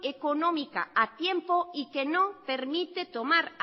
económica a tiempo y que no permite tomar